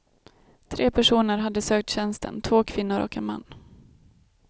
Tre personer hade sökt tjänsten, två kvinnor och en man.